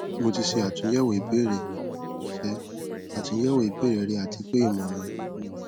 mo ti ṣe atunyẹwo ibeere ṣe atunyẹwo ibeere rẹ ati pe imọran mi niyi